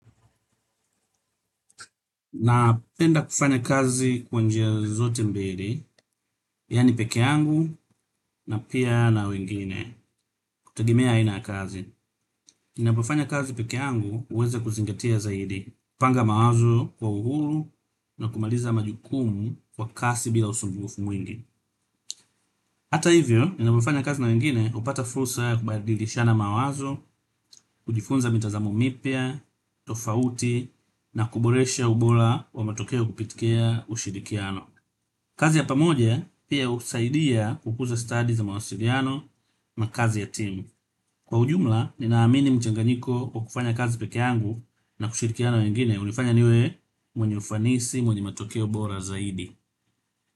Napenda kufanya kazi kwa njia zote mbili, yaani pekee yangu na pia na wengine, kutegemea aina ya kazi. Ninapofanya kazi pekee yangu huweza kuzingatia zaidi, panga mawazo kwa uhuru na kumaliza majukumu kwa kasi bila usumbufu mwingi. Hata hivyo, ninapofanya kazi na wengine napata fursa kubadilishana mawazo, kujifunza mitazamo mipya, tofauti na kuboresha ubora wa matokeo kupitikia ushirikiano. Kazi ya pamoja pia husaidia kukuza stasi za mawasiliano na kazi ya timu. Kwa ujumla, ninaamini mchanganyiko kwa kufanya kazi pekee yangu na kushirikiana na wengine. Hunifanya niwe mwenye ufanisi, mwenye matokeo bora zaidi.